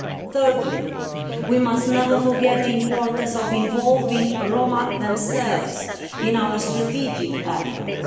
Thirdly, we must never forget the importance of involving the Roma themselves in our strategic efforts.